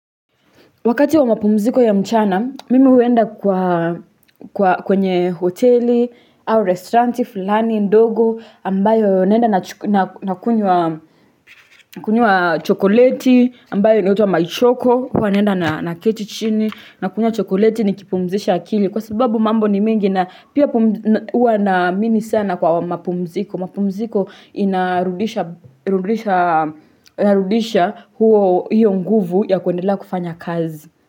Wakati wa mapumziko ya mchana, mimi huenda kwenye hoteli, au restauranti, fulani, ndogo, ambayo naenda nakunywa chokoleti, ambayo inaitwa maichoko, huwa naenda naketi chini, nakunywa chokoleti nikipumzisha akili. Kwa sababu mambo ni mengi na pia huwa naamini sana kwa mapumziko. Mapumziko inarudisha huo hiyo nguvu ya kuendelea kufanya kazi.